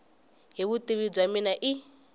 hi vutivi bya mina i